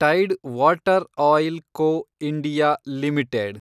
Tide water oil co (India) limited